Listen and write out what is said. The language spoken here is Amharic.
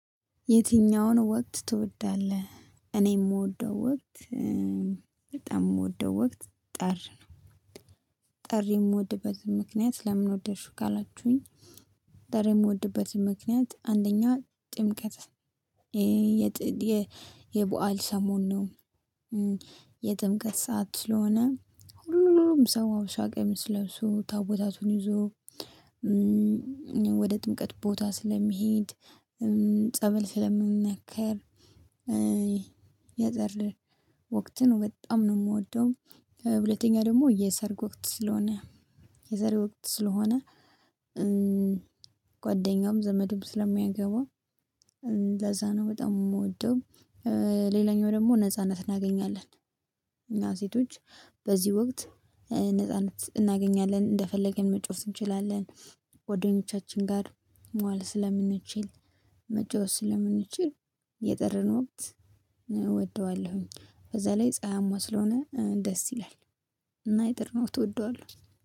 የትኛውን ወቅት ትወዳለህ እኔ የምወደው ወቅት በጣም የምወደው ወቅት ጠር ነው ጠርን የምወድበት ምክንያት ለምን ወደድሽው ካላችሁኝ ጠሪ የምወድበት ምክንያት አንደኛ ጥምቀት ይሄ የበአል ሰሞን ነው የጥምቀት ሰዓት ስለሆነ ሁሉም ሰው ሀበሻ ቀሚስ ለብሶ ታቦታቱን ይዞ ወደ ጥምቀት ቦታ ስለሚሄድ ጸበል ስለምንነከር የዘር ወቅትን ነው በጣም ነው የምወደው ሁለተኛ ደግሞ የሰርግ ወቅት ስለሆነ የሰርግ ወቅት ስለሆነ ጓደኛውም ዘመድም ስለሚያገባ ለዛ ነው በጣም የምወደው ሌላኛው ደግሞ ነጻነት እናገኛለን እና ሴቶች በዚህ ወቅት ነጻነት እናገኛለን እንደፈለገን መጫዎት እንችላለን ጓ ደኞቻችን ጋር መዋል ስለምንችል መጫወት ስለምንችል የጥርን ወቅት እወደዋለሁ በዛ ላይ ፀሀያማ ስለሆነ ደስ ይላል እና የጥርን ወቅት እወደዋለሁ።